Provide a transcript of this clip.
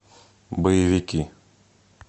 боевики